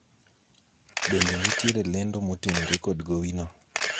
bende nitiere lendo motenore kod gowi no?